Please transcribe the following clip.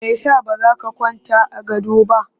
Me ya sa ba za ka kwanta a gado ba?